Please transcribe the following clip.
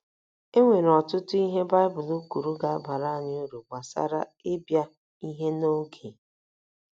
E nwere ọtụtụ ihe Baịbụl kwuru ga - abara anyị uru gbasara ịbịa ihe n’oge.